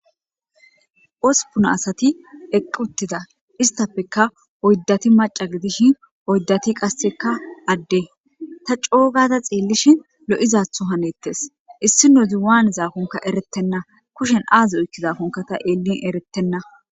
Uspuna asati eqquttida istafeka oyddati maca gidishin oyddati qasseka adde ta coogada xeellishin lo'izatho hanettes issino ziwaane zaakonka erettenna kushen aazi oykki zaakonka ta eellin eretenna